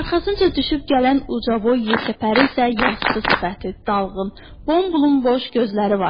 Arxasınca düşüb gələn ucaboy yekəpərin isə yastı sifəti, dalğın, bomboz gözləri vardı.